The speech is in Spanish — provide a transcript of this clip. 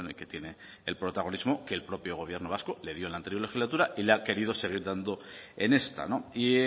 que tiene el protagonismo que el propio gobierno vasco le dio en la anterior legislatura y le ha querido seguir dando en esta y